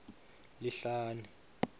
lihlane